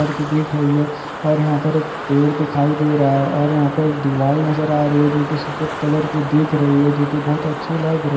और के देख रही है और ईहा पर एक पेड़ दिखाई दे राहा है और ईहा पे एक दीवाल नजर आ रही है। जो की सफेद कालार की दिख रही है। जो की बोहोत अच्छी लग र --